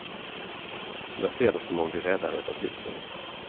Jag ser det som om vi räddar ett av husen.